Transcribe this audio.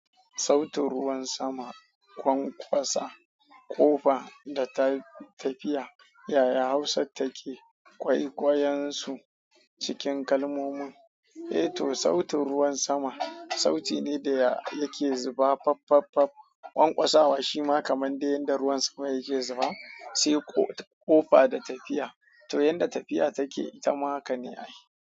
Sautin ruwan sama, kwanƙwasa, ƙofa da ta tafiya. Yaya hausattake kwaikwayon su, cikin kalmomin. Eh to, sautin ruwan sama, sauti ne daya yake zuba faffaffaff. Ƙwanƙwasawa shima kaman dai yanda ruwan sama yake zuba, sai ƙofa da tafiya. To yanda tafiya take, ita ma haka ne a yi.